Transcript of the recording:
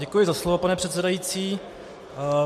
Děkuji za slovo, pane předsedající.